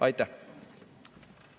Aitäh!